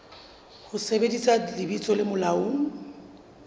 ho sebedisa lebitso le molaong